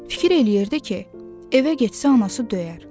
Fikir eləyirdi ki, evə getsə anası döyər.